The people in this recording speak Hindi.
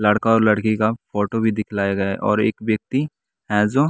लड़का और लड़की का फोटो भी दिखलाया गया है और एक व्यक्ति है जो।